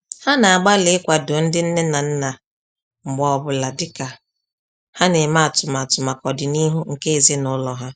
Ha na-agbalị ikwado ndị nne na nna mgbe ọ bụla dịka ha na-eme atụmatụ maka ọdịnihu nke ezinaụlọ ha